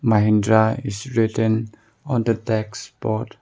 mahindra is written on the text board